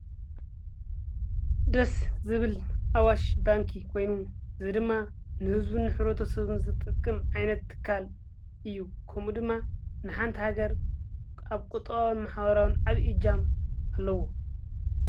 ደስ ዝብል ኣዋሽ ባንኪ ኮይኑ ዘድማ ንሕዝቡ ኅረቶ ሰብም ጥቅም ኣይነትትካል እዩ ከምኡ ድማ ንሓንቲ ሃገር ኣብ ቈጥዋዊ መሓዋራዊን ዓብኢጃም ኣለዎ።